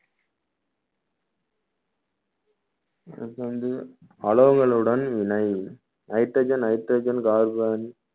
அடுத்து வந்து அலோகளுடன் இணை hydrogen, nitrogen, carbon